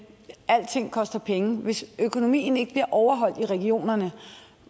alting koster penge hvis økonomien ikke bliver overholdt i regionerne